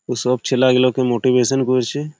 এসব ছেল্যা গুলোকে মোটিভেশন করছে ।